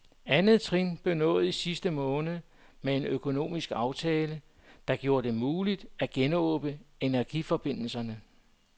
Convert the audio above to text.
Andet trin blev nået i sidste måned med en økonomisk aftale, der gjorde det muligt at genåbne energiforbindelserne.